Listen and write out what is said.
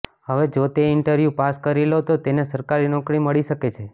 હવે જો તે ઇન્ટરવ્યૂ પાસ કરી લે તો તેને સરકારી નોકરી મળી શકે છે